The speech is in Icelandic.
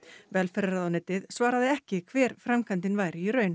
velferðarráðuneytið svaraði ekki hver framkvæmdin væri í raun